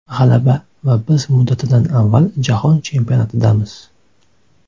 G‘alaba va biz muddatidan avval Jahon Chempionatidamiz!.